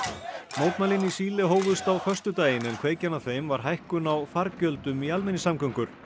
mótmælin í Síle hófust á föstudaginn en kveikjan að þeim var hækkun á fargjöldum í almenningssamgöngum